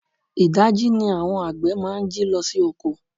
Idaji ni àwọn àgbè máa ń jí lọ sí oko.